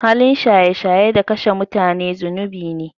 Halin shaye shaye da kashe mutane zunubi ne.